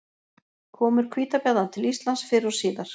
Komur hvítabjarna til Íslands fyrr og síðar.